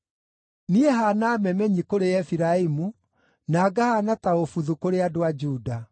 Niĩ haana memenyi kũrĩ Efiraimu, na ngahaana ta ũbuthu kũrĩ andũ a Juda.